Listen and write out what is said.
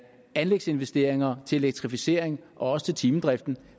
anlægsinvesteringer til elektrificering og også til timedriften